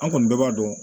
An kɔni bɛɛ b'a dɔn